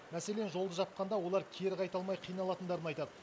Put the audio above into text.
мәселен жолды жапқанда олар кері қайта алмай қиналатындарын айтады